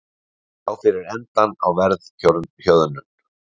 Sjá fyrir endann á verðhjöðnun